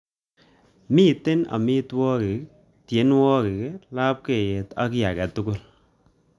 Mitei amitwogik, tienwogik, lapkeiyet aka kiy age tugul